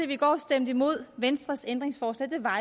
vi i går stemte imod venstres ændringsforslag var